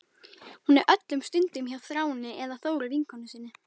Hún er öllum stundum hjá Þráni eða Þóru vinkonu sinni.